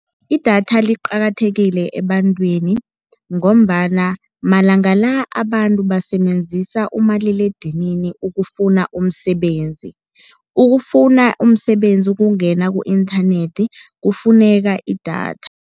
Idatha liqakathekile ebantwini, ngombana amalanga la abantu basebenzisa umaliledinini ukufuna umsebenzi. Ukufuna umsebenzi, ukungena ku-inthanethi kufuneka idatha.